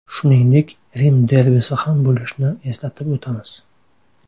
Shuningdek, Rim derbisi ham bo‘lishni eslatib o‘tamiz.